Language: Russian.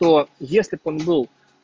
то если он был